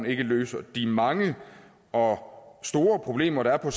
ikke løser de mange og store problemer der er